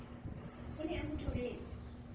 a ne a mo thobetse